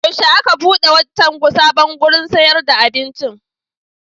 Yaushe aka buɗe wancan sabon wurin sayar da abincin?